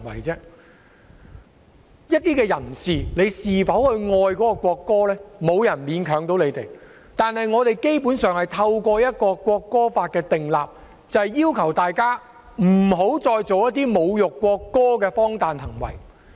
至於某些人是否愛國歌，沒有人可以勉強他們，但我們基本上是透過制定《條例草案》，要求大家不要再做一些侮辱國歌的荒誕行為。